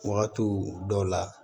Wagati dɔw la